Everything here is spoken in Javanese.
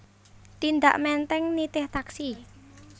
Tindak Menteng nitih taksi